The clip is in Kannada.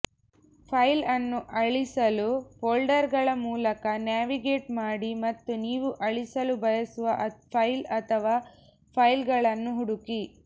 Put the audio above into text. ಫೈಲ್ ಅನ್ನು ಅಳಿಸಲು ಫೋಲ್ಡರ್ಗಳ ಮೂಲಕ ನ್ಯಾವಿಗೇಟ್ ಮಾಡಿ ಮತ್ತು ನೀವು ಅಳಿಸಲು ಬಯಸುವ ಫೈಲ್ ಅಥವಾ ಫೈಲ್ಗಳನ್ನು ಹುಡುಕಿ